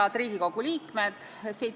Head Riigikogu liikmed!